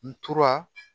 N tora